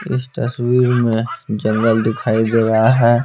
इस तस्वीर में जंगल दिखाई दे रहा है।